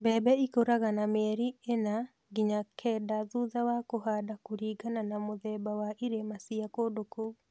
Mbembe ĩkũraga na mĩeli ĩna nginya kenda thutha wa kũhanda kũlingana na mũthemba na irĩma cia kũndũ kũu